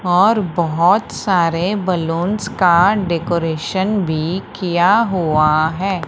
और बहुत सारे बलूंस का डेकोरेशन भी किया हुआ है।